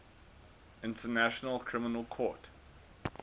international criminal court